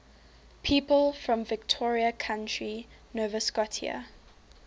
people from victoria county nova scotia